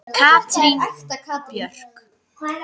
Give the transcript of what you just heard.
Katrín Björk.